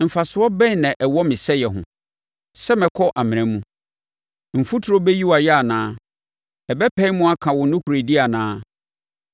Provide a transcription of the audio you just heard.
“Mfasoɔ bɛn na ɛwɔ me sɛeɛ ho, sɛ mɛkɔ amena mu? Mfuturo bɛyi wo ayɛ anaa? Ɛbɛpae mu aka wo nokorɛdie anaa?